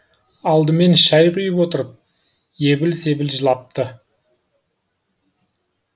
алдымен шәй құйып отырып ебіл себіл жылапты